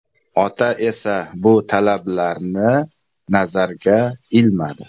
Ota esa bu talablarni nazarga ilmadi.